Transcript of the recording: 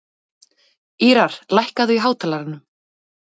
Ýrar, lækkaðu í hátalaranum.